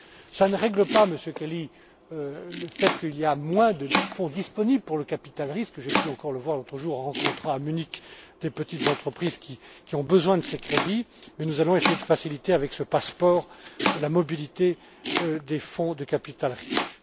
Cela ne règle pas, Monsieur Kelly, le fait qu'il y ait moins de fonds disponibles pour le capital risque, comme j'ai pu encore le constater l'autre jour en rencontrant à Munich des petites entreprises qui ont besoin de ces crédits, mais nous allons essayer de faciliter, avec ce passeport, la mobilité des fonds de capital risque.